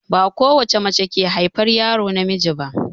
Ba ko wacce mace ke haifar yaro namiji ba.